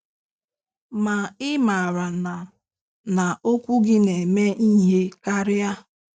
Ma ị maara na na okwu gị na-eme ihe karịa?